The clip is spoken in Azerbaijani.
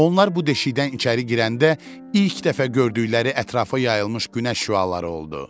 Onlar bu deşikdən içəri girəndə ilk dəfə gördükləri ətrafa yayılmış günəş şüaları oldu.